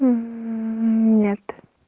нет